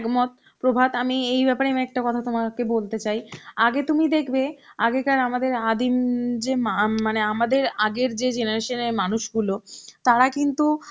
মত, প্রভাত আমি এই ব্যাপারে আমি একটা কথা তোমাকে বলতে চাই, আগে তুমি দেখবে আগেকার আমাদের আদিম যে মা~ মানে আমাদের আগের যে generation এর মানুষ গুলো তারা কিন্তু